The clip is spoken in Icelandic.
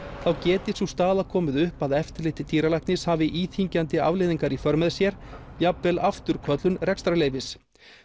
þá geti sú staða komið upp að eftirlit dýralæknis hafi íþyngjandi afleiðingar í för með sér jafnvel afturköllun rekstrarleyfis